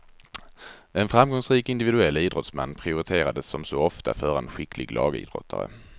En framgångsrik individuell idrottsman prioriterades som så ofta före en skicklig lagidrottare.